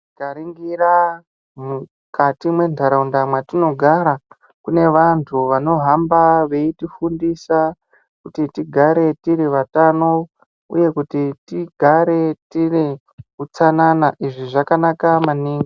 Tikaringira mukati mwendaraunda mwatinogara, kunevantu vanohamba veitifundisa kuti tigare tirivatano uye kuti tigare tine utsanana izvi zvakanaka maningi.